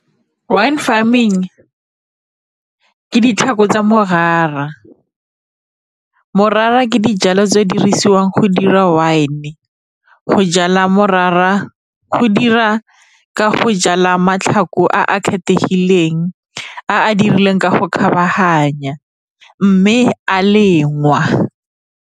Wine farming ke tsa morara, morara ke dijalo tse di dirisiwang go dira wine. Go jala morara go dira ka go jala a kgethegileng a dirilweng ka go kgabaganya mme a lengwa.